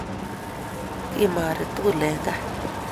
Kimari tugul eng kaa